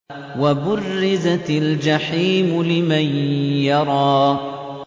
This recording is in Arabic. وَبُرِّزَتِ الْجَحِيمُ لِمَن يَرَىٰ